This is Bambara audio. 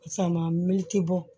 Sama me ti bɔ